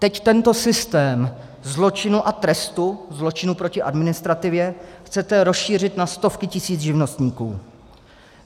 Teď tento systém zločinu a trestu, zločinu proti administrativě, chcete rozšířit na stovky tisíc živnostníků.